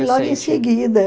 logo em seguida.